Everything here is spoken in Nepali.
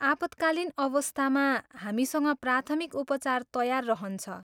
आपतकालीन अवस्थामा, हामीसँग प्राथमिक उपचार तयार रहन्छ।